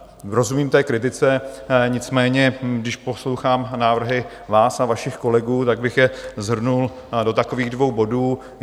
Rozumím té kritice, nicméně když poslouchám návrhy vás a vašich kolegů, tak bych je shrnul do takových dvou bodů.